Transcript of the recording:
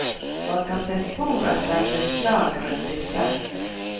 Man kan se spor etter beslag rundt disse.